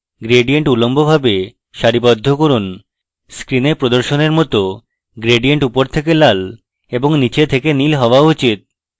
gradient উল্লম্বভাবে সারিবদ্ধ করুন screen প্রদর্শনের মত gradient উপর থেকে লাল এবং নীচ থেকে নীল হওয়া উচিত